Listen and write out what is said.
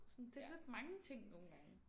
Sådan det lidt mange ting nogen gange